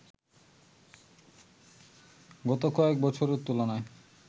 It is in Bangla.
গত কয়েক বছরের তুলনায়